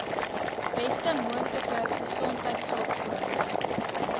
beste moontlike gesondheidsorgvoordele